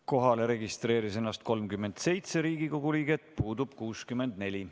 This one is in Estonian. Kohalolijaks registreeris ennast 37 Riigikogu liiget, puudub 64.